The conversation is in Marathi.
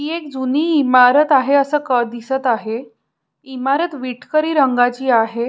ही एक जुनी इमारत आहे कळ अस दिसत आहे इमारत विटकरी रंगाची आहे.